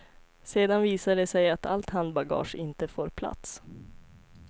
Sedan visar det sig att allt handbagage inte får plats.